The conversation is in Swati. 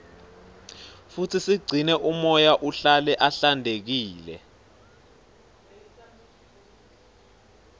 futsi sigcine umoya uhlale uhlantekile